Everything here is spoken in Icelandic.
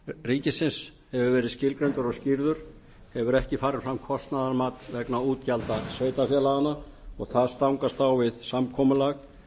ríkisins hefur verið skilgreindur og skýrður þá hefur ekki farið fram kostnaðarmat vegna útgjalda sveitarfélaganna og það stangast á við samkomulag